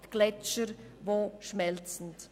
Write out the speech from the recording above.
Es sind die Gletscher, die schmelzen.